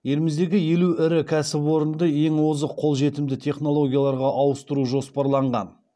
еліміздегі елу ірі кәсіпорынды ең озық қолжетімді технологияларға ауыстыру жоспарланған